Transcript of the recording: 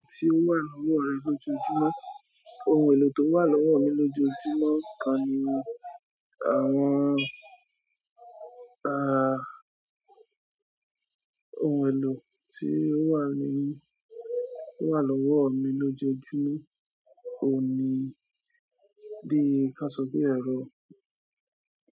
Ohun èlò tí ó wà lọ́wọ́ rẹ lójoojúmọ́, ohun èlò tó wà lọ́wọ́ mi lójoojúmọ́ kan ni àwọn-- ohun èlò tí ó wà lọ́wọ́ mí lójoojúmó òun ni bíi ká sọ pé ẹ̀rọ.